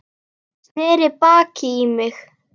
Sneri baki í mig.